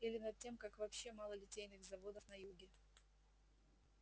или над тем как вообще мало литейных заводов на юге